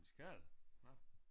En skade? Nåh